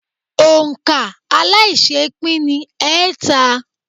Òǹ̀kà aláiṣẹépín ni ẹẹ́ta.